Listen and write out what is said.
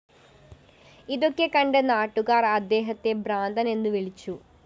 ഇതൊക്കെ കണ്ട് നാട്ടുകാര്‍ അദ്ദേഹത്തെ ഭ്രാന്തന്‍ എന്ന് വിളിച്ചു